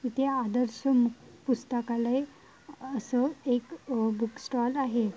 इथे आदर्श पुस्तकालय अस एक आ बूक स्टॉल आहे.